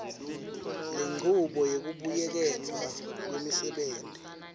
lenchubo yekubuyeketwa kwemsebenti